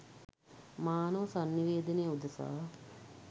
මානව සන්නිවේදනය උදෙසා